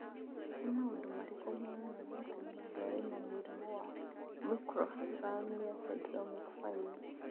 Nĩ maũndũ marĩkũ monanagia atĩ mũndũ arĩ na mũrimũ wa Microphthalmia syndromic 5?